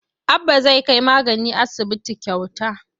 Abba zai kai magani asibiti kyauta.